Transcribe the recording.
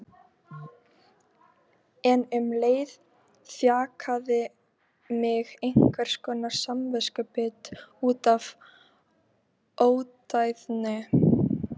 Fjölskyldan sinnti þessari týru á heimsenda af aðdáunarverðri seiglu.